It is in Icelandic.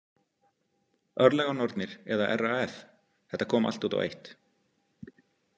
Örlaganornir eða RAF, þetta kom allt út á eitt.